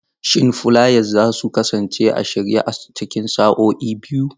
Shin fulayas za su kasance a shirye a cikin sa'o'i biyu?